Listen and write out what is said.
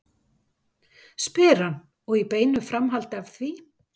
spyr hann og í beinu framhaldi af því